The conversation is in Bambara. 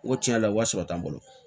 N ko tiɲɛ yɛrɛ la wari sɔrɔ tɛ n bolo